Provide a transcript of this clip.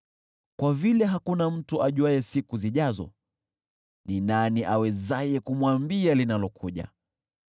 Kwa vile hakuna mtu ajuaye siku zijazo, ni nani awezaye kumwambia linalokuja?